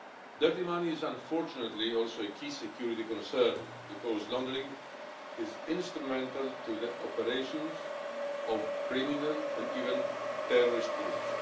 Dirty money is unfortunately also a key security concern because laundering is instrumental to the operations of criminal, and even terrorist, groups.